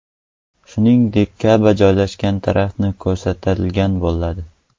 Shuningdek, Ka’ba joylashgan taraf ko‘rsatilgan bo‘ladi.